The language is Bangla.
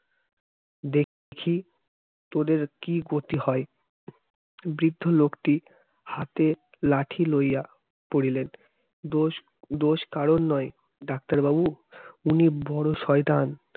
দেখছি তোদের কি গতি হয় বৃদ্ধ লোকটি হাতে লাঠি লইয়া পড়লেন দোষ দোষ কারোর নয় doctor বাবু উনি বড় শয়তান